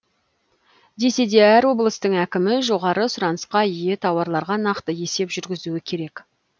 десе де әр облыстың әкімі жоғары сұранысқа ие тауарларға нақты есеп жүгізуі керек